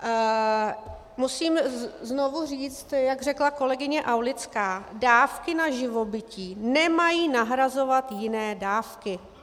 Musím znovu říct, jak řekla kolegyně Aulická, dávky na živobytí nemají nahrazovat jiné dávky.